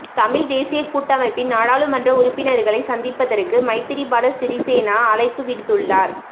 தமிழ்த் தேசியக் கூட்டமைப்பின் நாடாளுமன்ற உறுப்பினர்களைச் சந்திப்பதற்கு மைத்திரிபால சிறிசேன அழைப்பு விடுத்துள்ளார்